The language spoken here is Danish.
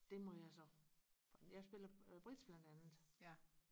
det må jeg så jeg spiller bridge blandt andet